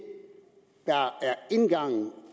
indgangen